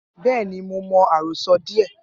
Bẹẹni, Mo mọ arosọ diẹ.